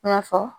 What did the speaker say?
I n'a fɔ